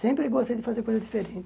Sempre gostei de fazer coisa diferente.